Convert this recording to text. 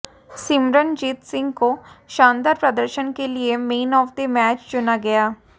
सिमरनजीत सिंह को शानदार प्रदर्शन के लिए मैन ऑफ द मैच चुना गया